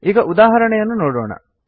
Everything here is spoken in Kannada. ಈಗ ಉದಾಹರಣೆಯನ್ನು ನೋಡೋಣ